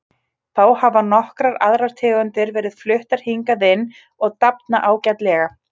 Þá hafa nokkrar aðrar tegundir verið fluttar hingað inn og dafna ágætlega.